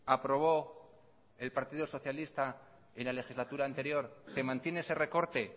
aprobó el partido socialista en la legislatura anterior se mantiene ese recorte